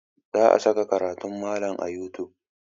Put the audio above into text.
Za a saka karatun malam a youtube.